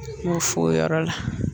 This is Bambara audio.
N y'o fo o yɔrɔ la